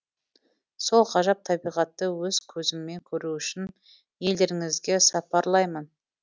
сол ғажап табиғатты өз көзіммен көру үшін елдеріңізге сапарлаймын